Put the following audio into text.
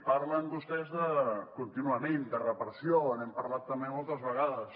parlen vostès contínuament de repressió n’hem parlat també moltes vegades